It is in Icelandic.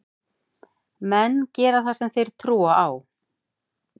Menn gera það sem þeir trúa á.